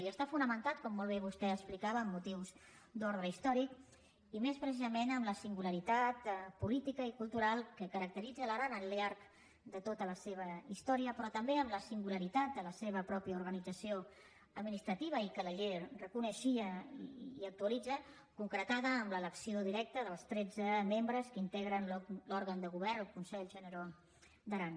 i està fonamentat com molt bé vostè explicava en motius d’ordre històric i més precisament en la singularitat política i cultural que caracteritza l’aran al llarg de tota la seva història però també en la singularitat de la seva pròpia organització administrativa i que la llei reconeixia i actualitza concretada en l’elecció directa dels tretze membres que integren l’òrgan de govern el consell generau d’aran